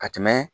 Ka tɛmɛ